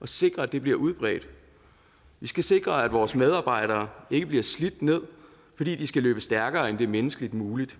og sikre at det bliver udbredt vi skal sikre at vores medarbejdere ikke bliver slidt ned fordi de skal løbe stærkere end det er menneskeligt muligt